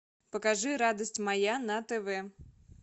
покажи радость моя на тв